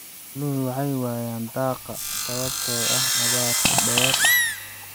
Xooluhu waxay waayaan daaqa sababtoo ah abaaraha dheer.